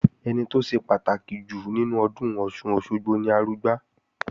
Ẹni tó ṣe pàtàkì jù nínú ọdún Ọ̀ṣun-Òṣogbo ni Arugbá